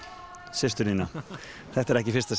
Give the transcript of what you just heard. systur þína þetta er ekki í fyrsta